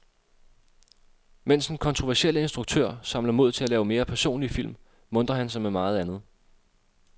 Mens den kontroversielle instruktør samler mod til lave mere personlige film, muntrer han sig med meget andet.